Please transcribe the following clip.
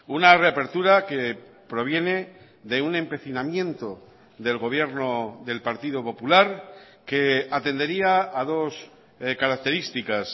una reapertura que proviene de un empecinamiento del gobierno del partido popular que atendería a dos características